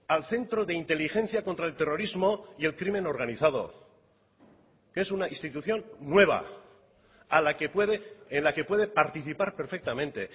al centro de inteligencia contra el terrorismo y el crimen organizado que es una institución nueva a la que puede en la que puede participar perfectamente